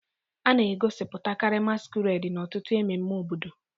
A na-egosipụtakarị masquerades n'ọtụtụ ememme obodo